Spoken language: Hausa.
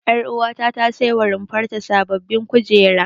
Ƴaruwata ta saiwa runfar ta sababbin kujeru.